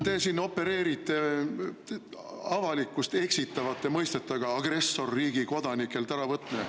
Te siin opereerite avalikkust eksitavate mõistetega: agressorriigi kodanikelt äravõtmine.